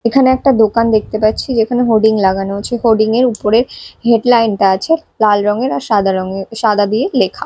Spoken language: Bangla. এখানে একটা দোকান দেখতে পাচ্ছি যেখানে হোর্ডিং লাগানো আছে হোর্ডিং -এর উপরে হেডলাইন -টা আছে লাল রংয়ের আর সাদা রঙের সাদা দিয়ে লেখা।